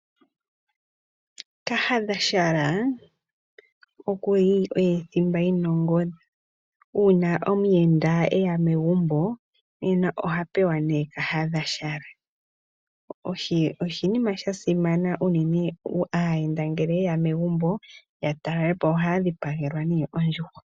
Kahadha okuli oye thimba yinongodhi. Uuna omuyenda eya megumbo nena ohapewa nee kahadha . Oshinima shasimana unene aayenda ngele ye ya megumbo ohaya dhipagelwa nee ondjuhwa.